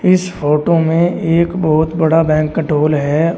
इस फोटो में एक बहुत बड़ा बैंकेट हॉल है।